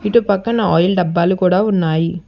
ఇటుపక్కన oil డబ్బాలు కూడా ఉన్నాయి.